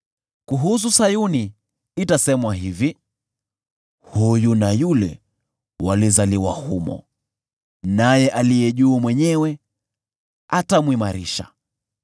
Kuhusu Sayuni itasemwa hivi, “Huyu na yule walizaliwa humo, naye Aliye Juu Sana mwenyewe atamwimarisha.”